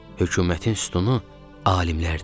Hökumətin sütunu alimlərdir.